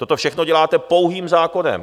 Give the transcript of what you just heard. Toto všechno děláte pouhým zákonem.